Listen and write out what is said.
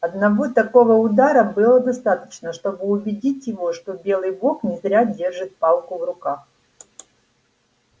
одного такого удара было достаточно чтобы убедить его что белый бог не зря держит палку в руках